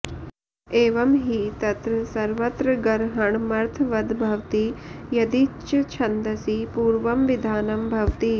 एवं हि तत्र सर्वत्रगरहणमर्थवद्भवति यदि च्छन्दसि पूर्वं विधानं भवति